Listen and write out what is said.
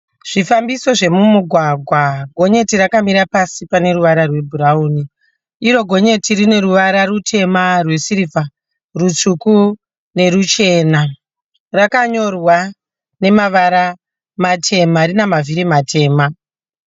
Zvifambiso zvemumugwagwa. Gonyeti rakamira pasi pane ruvara rwebhurawuni. Iro gonyeti rine ruvara rutema, rwesirivha, rutsvuku neruchena. Rakanyorwa nemavara matema. Rine mavhiri matema.